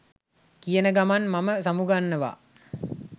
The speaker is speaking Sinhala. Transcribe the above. කියන ගමන් මම සමුගන්නවා